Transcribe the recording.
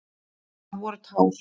Það voru tár.